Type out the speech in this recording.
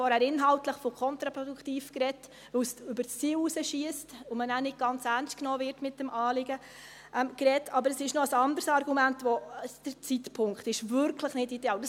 Ich habe vorhin inhaltlich von «kontraproduktiv» gesprochen, weil es über das Ziel hinausschiesst und man dann nicht ganz ernst genommen wird mit dem Anliegen, aber es gibt noch ein anderes Argument: Der Zeitpunkt ist wirklich nicht ideal.